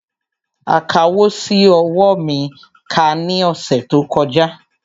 Akawò ṣi owó mi kà ní ọ̀sẹ̀ tó kọjá